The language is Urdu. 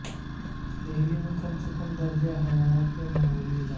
دہلی میں کم سے کم درجہ حرارت میں معمولی اضافہ